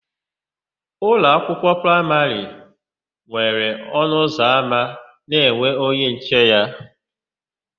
Ụlọakwụkwọ praịmarị nwere ọnụụzọama na-enwe onye nche na ya.